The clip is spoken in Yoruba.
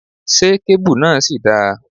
Ṣé kéébù náà ṣì dáa?